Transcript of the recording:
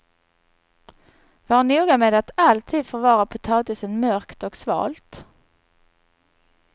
Var noga med att alltid förvara potatisen mörkt och svalt.